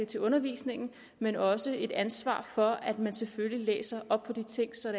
til undervisningen men også et ansvar for at man selvfølgelig læser op på de ting så